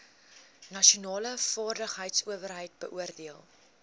nasionale vaardigheidsowerheid beoordeel